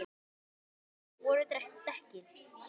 Svo fúin voru dekkin.